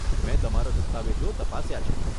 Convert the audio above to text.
મેં તમારા દસ્તાવેજો તપાસ્યા છે.